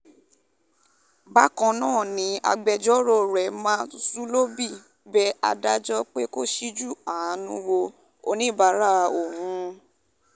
bákan náà ni agbẹjọ́rò rẹ ma zulobi bẹ adájọ́ pé kó ṣíjú àánú wo oníbàárà òun